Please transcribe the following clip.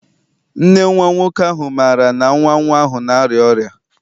Nne nwa nwoke ahụ maara na nwa nwa ahụ na-arịa ọrịa?